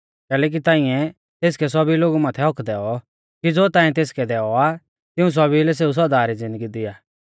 कैलैकि ताइंऐ तेसकै सौभी लोगु माथै हक्क्क दैऔ कि ज़ो ताइंऐ तेसकै दैऔ आ तिऊं सौभी लै सेऊ सौदा री ज़िन्दगी दिआ